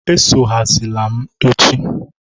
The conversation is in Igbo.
Esogharizila m echi!